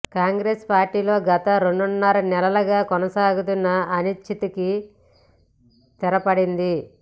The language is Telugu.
కాంగ్రెస్ పార్టీలో గత రెండున్నర నెలలుగా కొనసాగుతున్న అనిశ్చితికి తెరపడింది